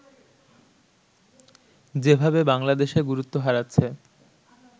যেভাবে বাংলাদেশে গুরুত্ব হারাচ্ছে